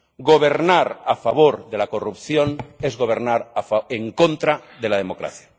Gobernar a favor de la corrupción es gobernar en contra de la democracia.